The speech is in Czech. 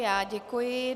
Já děkuji.